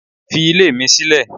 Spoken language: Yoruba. Fi ilé mi sílẹ̀.